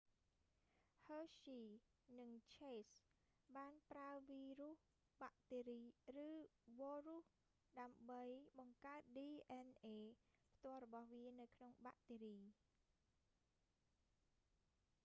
ហ៊ើស្ហ៊ី hershey និងឈេស chase បានប្រើវីរ៉ុសបាក់តេរី ឬវ៉រ៉ុស ដើម្បីបង្កើត dna ផ្ទាល់របស់វានៅក្នុងបាក់តេរី